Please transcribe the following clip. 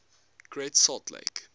great salt lake